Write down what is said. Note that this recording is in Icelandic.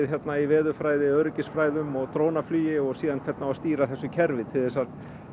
í veðurfræði öryggisfræðum og drónaflugi og síðan hvernig á að stýra þessu kerfi til þess að